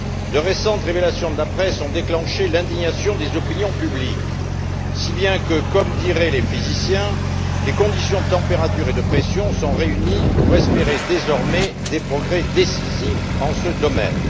De récentes révélations de la presse ont déclenché l'indignation des opinions publiques si bien que comme diraient les physiciens les conditions de température et de pression sont réunies pour espérer, désormais, des progrès décisifs en la matière.